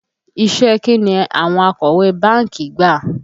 Iṣẹ́ ẹ kín ni àwọn akọ̀wé báńkì gbà?